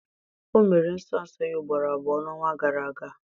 O mere nsọ nsọ ya ugboro abụọ n'ọnwa gara aga.